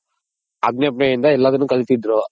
ಆಜ್ಞೆ ಕಲಿತಿದ್ರು .